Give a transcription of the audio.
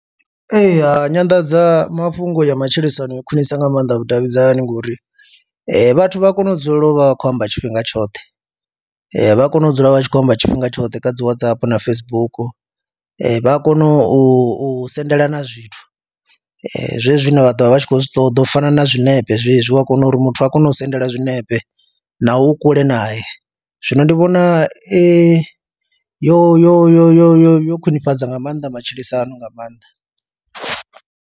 Eya, nyanḓadzamafhungo ya matshilisano i khwinisa nga maanḓa vhudavhidzani ngori vhathu vha kone u dzulela u vha vha khou amba tshifhinga tshoṱhe vha kone u dzula vha tshi khou amba tshifhinga tshoṱhe kha dzi Whatsapp na Facebook. Vha a kona u sendelana zwithu zwezwi zwine vha ḓo vha vha tshi khou zwi ṱoḓa u fana na zwiṋepe zwezwi u a kona uri muthu a kone u sendela zwinepe naho u kule nay, e zwino ndi vhona i yo yo yo yo yo yo khwinifhadza nga maanḓa matshilisano nga maanḓa.